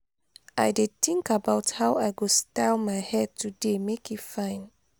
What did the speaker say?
i dey think about how i go style my hair today make e fine.